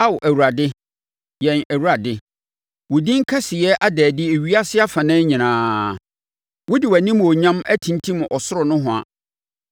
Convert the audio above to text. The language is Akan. Ao Awurade, yɛn Awurade, wo din kɛseyɛ ada adi ewiase afanan nyinaa. Wode wʼanimuonyam atimtim ɔsoro nohoa,